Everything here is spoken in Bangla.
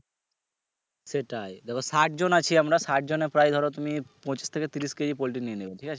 সেটাই দেখো ষাট জন আছি আমরা ষাটজনের প্রায় ধরো তুমি পচিশ থেকে ত্রিশ KGpoultry নিয়ে নিবে ঠিক আছে